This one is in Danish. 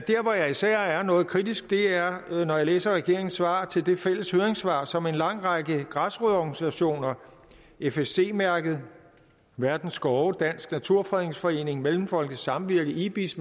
hvor jeg især er noget kritisk er når jeg læser regeringens svar til det fælles høringssvar som en lang række græsrodsorganisationer fsc mærket verdens skove dansk naturfredningsforening mellemfolkeligt samvirke ibis